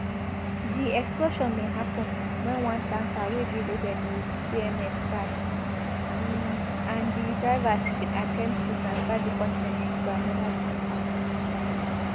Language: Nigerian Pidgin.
di explosion bin happun wen one tanker wey dey loaded wit pms crash um and di drivers bin attempt to transfer di con ten ts to anoda tanker